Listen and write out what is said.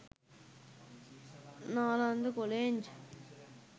nalanda college